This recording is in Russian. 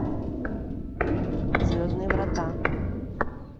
звездные врата